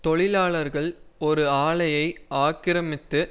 தொழிலாளர்கள் ஒரு ஆலையை ஆக்கிரமித்து